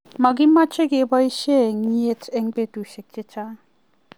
Makimeche keboishe enyet eng' betushiek chechang'.